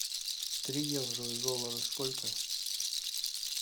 три евро в долларах сколько